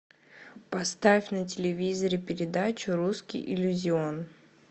поставь на телевизоре передачу русский иллюзион